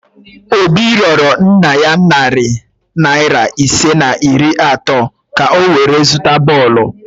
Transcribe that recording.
Obi rịorọ nna ya narị naịra ise na iri atọ ka o were ya zụta bọọlụ